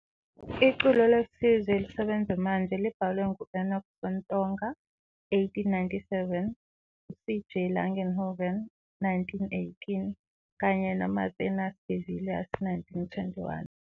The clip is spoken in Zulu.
Iculo lesizwe elisebenza manje libhalwe ngu-Enoch Sontonga, 1897, u-C. J. Langenhoven, 1918, kanye no-Marthinus de Villiers, 1921